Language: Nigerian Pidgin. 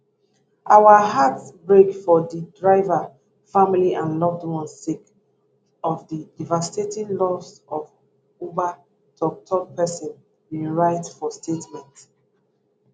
our hearts break for di driver family and loved ones sake of the devastating loss one uber tokptok pesin bin write bin write for statement